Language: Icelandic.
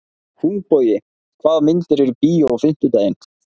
Húnbogi, hvaða myndir eru í bíó á fimmtudaginn?